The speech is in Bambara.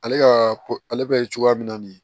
Ale ka ko ale bɛ cogoya min na nin ye